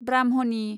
ब्राह्मनि